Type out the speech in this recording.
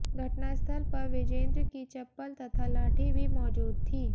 घटनास्थल पर विजेंद्र की चप्पल तथा लाठी भी मौजूद थी